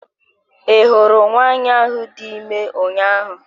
I hụrụ nwanyị ahụ dị ime ụnyaahụ?